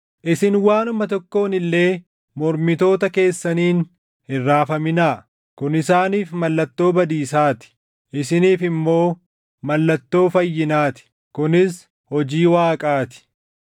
Isin waanuma tokkoon illee mormitoota keessaniin hin raafaminaa. Kun isaaniif mallattoo badiisaa ti; isiniif immoo mallattoo fayyinaa ti; kunis hojii Waaqaa ti.